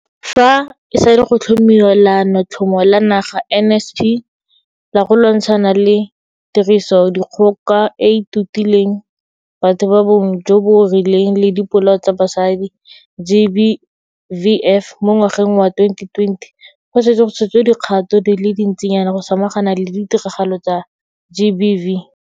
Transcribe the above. Fa e sale go tlhomiwa Leanotlhomo la Naga NSP la go lwantshana le Tirisodikgoka e e Totileng Batho ba Bong jo bo Rileng le Dipolao tsa Basadi GBVF mo ngwageng wa 2020, go setse go tshotswe dikgato di le dintsinyana go samagana le ditiragalo tsa GBV.